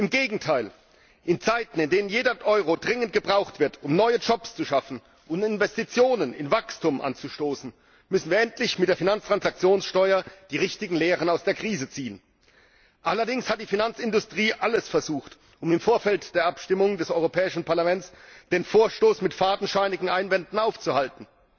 Im Gegenteil, in Zeiten, in denen jeder Euro dringend gebraucht wird, um neue Jobs zu schaffen und Investitionen in Wachstum anzustoßen, müssen wir endlich mit der Finanztransaktionssteuer die richtigen Lehren aus der Krise ziehen. Allerdings hat die Finanzindustrie alles versucht, um im Vorfeld der Abstimmung des Europäischen Parlaments den Vorstoß mit fadenscheinigen Einwänden aufzuhalten.